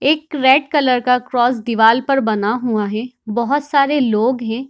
एक red colour का cross दीवाल पर बना हुआ हे बोहत सारे लोग हे।